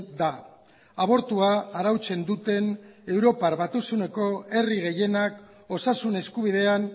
da abortua arautzen duten europar batasuneko herri gehienak osasun eskubidean